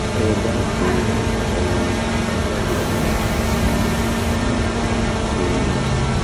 ẹ dákun um ẹ wo àbájáde àyẹ̀wò tí àyẹ̀wò tí mo so mọ́ ọn